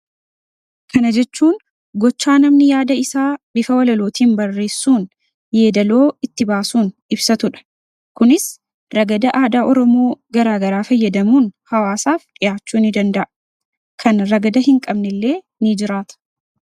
kana jechuun gochaa namni yaada isaa bifa walalootiin barreessuun yeedaloo itti baasuun ibsatudha kunis ragada aadaa oromoo garaa garaa fayyadamuun hawaasaaf dhi'aachuu in danda'a kan ragada hin qabne illee in jiraata